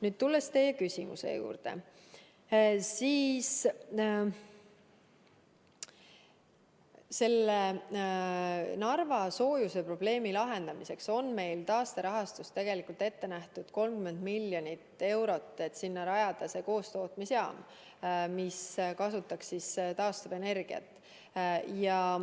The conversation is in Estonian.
Nüüd, tulles teie küsimuse juurde, selle Narva soojusprobleemi lahendamiseks on meil taasterahastust ette nähtud 30 miljonit eurot, et rajada sinna koostootmisjaam, mis kasutaks taastuvenergiat.